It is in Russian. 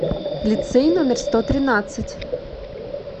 лицей номер сто тринадцать